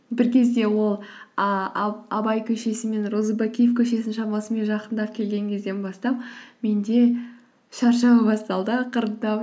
бір кезде ол ы абай көшесі мен розыбакиев көшесінің шамасымен жақындап келген кезден бастап менде шаршау басталды ақырындап